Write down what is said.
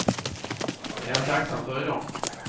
Det är han tacksam för i dag.